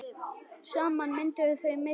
Saman mynduðu þau mitt þorp.